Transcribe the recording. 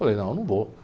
Falei, não, eu não vou.